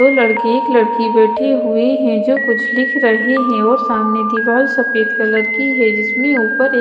दो लडकी एक लडकी बैठी हुई है जो कुछ लिख रही है और सामने दीवार सफेद कलर की है जिसमे उपर एक--